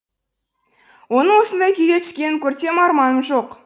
оның осындай күйге түскенін көрсем арманым жоқ